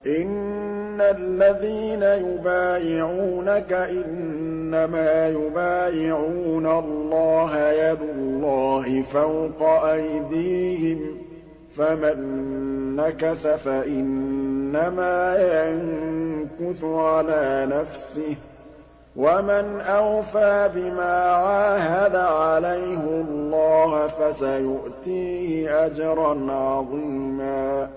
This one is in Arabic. إِنَّ الَّذِينَ يُبَايِعُونَكَ إِنَّمَا يُبَايِعُونَ اللَّهَ يَدُ اللَّهِ فَوْقَ أَيْدِيهِمْ ۚ فَمَن نَّكَثَ فَإِنَّمَا يَنكُثُ عَلَىٰ نَفْسِهِ ۖ وَمَنْ أَوْفَىٰ بِمَا عَاهَدَ عَلَيْهُ اللَّهَ فَسَيُؤْتِيهِ أَجْرًا عَظِيمًا